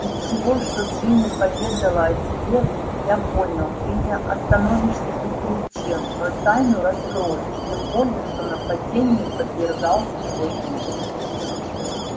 из всего что джинни поведала о тебе я понял ты не остановишься ни перед чем но тайну раскроешь тем более что нападению подвергался твой друг